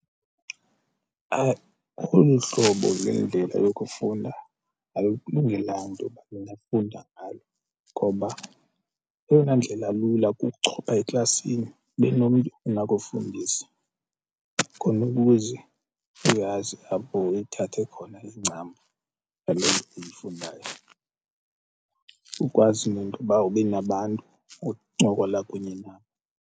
Olu hlobo lwendlela yokufunda alukulungela nto uba ndingafunda ngalo ngoba eyona ndlela lula kukuchopha eklasini ube nomntu onakufundisa khona ukuze uyazi apho uyithathe khona incambu ngaloo nto uyifundayo ukwazi nentoba ube nabantu oncokola kunye nabo.